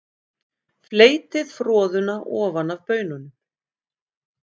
Fleytið froðuna ofan af baununum.